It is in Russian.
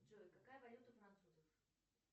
джой какая валюта у французов